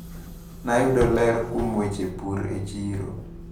Nayudo ler kuom weche pur e chiro.